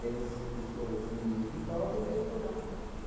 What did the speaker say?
Tem os pesso os meninos que toca e tem o coral.